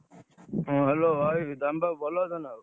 ହଁ, Hello ଭାଇ ଦାମବାବୁ ଭଲ ଅଛ ନା ଆଉ?